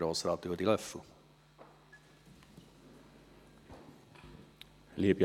Grossrat Ruedi Löffel für die EVP.